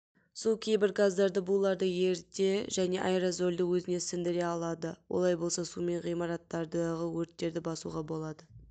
су кейбір газдарды буларды еріте және аэрозольді өзіне сіндіре алады олай болса сумен ғимараттардағы өрттерді басуға болады